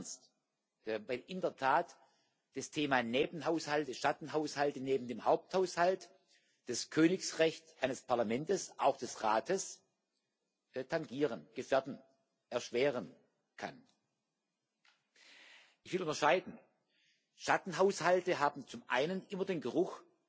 Das nehme ich ernst, weil in der Tat das Thema Nebenhaushalt, Schattenhaushalt neben dem Haupthaushalt, das Königsrecht eines Parlamentes, auch des Rates, tangieren, gefährden, erschweren kann. Ich will unterscheiden Schattenhaushalte haben zum einen immer den Geruch